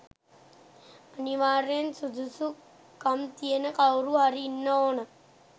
අනිවාර්යෙන් සුදුසුකම්තියෙන කවුරු හරි ඉන්න ඕන.